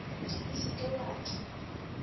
o se ke wa tla